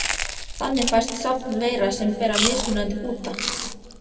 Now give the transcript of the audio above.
Þannig fæst safn veira sem bera mismunandi búta.